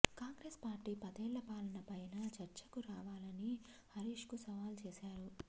Congress party పదేళ్ల పాలన పైన చర్చకు రావాలని హరీష్కు సవాల్ చేశారు